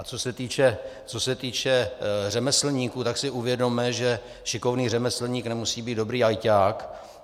A co se týče řemeslníků, tak si uvědomme, že šikovný řemeslník nemusí být dobrý ajťák.